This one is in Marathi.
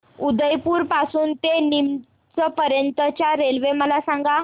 उदयपुर पासून ते नीमच पर्यंत च्या रेल्वे मला सांगा